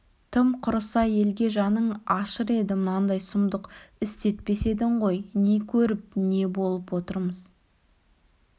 тым құрыса елге жаның ашыр еді мынандай сұмдық істетпес едің ғой не көріп не болып отырмыз